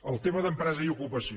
el tema d’empresa i ocupació